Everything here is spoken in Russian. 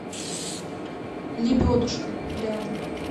лебедушка рядом